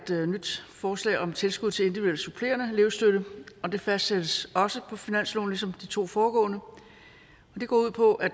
nyt forslag om tilskud til individuel supplerende elevstøtte og det fastsættes også på finansloven ligesom de to foregående det går ud på at